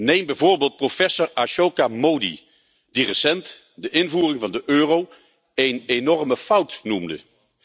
Neem bijvoorbeeld professor Ashoka Mody, die recent de invoering van de euro een enorme fout noemde.